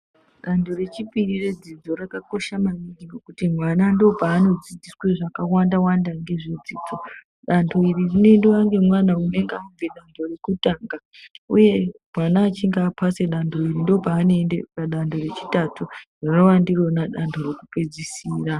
Danho rechipiri redzidzo rakakosha maningi ngekuti mwana ndipo paanodzidziswa zvakawandawanda ngezvedzidzo danho iri rinoendwa ngemwana unonga abve danho rekutanga uye mwana achinge apasa danho iri ndopanoende padanho rechitatu rinova ndironaa danho rekupedzisira.